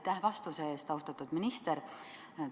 Aitäh vastuse eest, austatud minister!